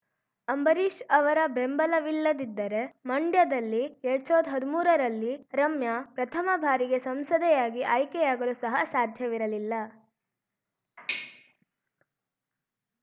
ಅಂಬರೀಶ್‌ ಅವರ ಬೆಂಬಲವಿಲ್ಲದಿದ್ದರೆ ಮಂಡ್ಯದಲ್ಲಿ ಎರಡ್ ಸಾವಿರ್ದ ಹದ್ಮೂರರಲ್ಲಿ ರಮ್ಯಾ ಪ್ರಥಮ ಬಾರಿಗೆ ಸಂಸದೆಯಾಗಿ ಆಯ್ಕೆಯಾಗಲು ಸಹ ಸಾಧ್ಯವಿರಲಿಲ್ಲ